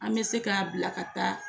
An bɛ se k'a bilaka taa.